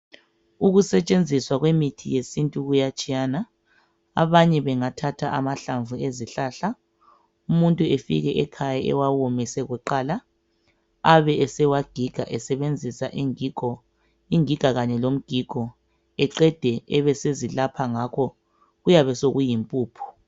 Ukusetshenziswa kwemithi yesintu kuyatshiyana abanye bengathatha amahlamvu ezihlahla umuntu efike ekhaya ewawomise kuqala Abe esewagiga esebenzisa ingigo, ingiga kanye lomgigo eqede ebe esezilapha ngakho kuyabe sokuyimphuphu.